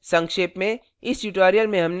संक्षेप में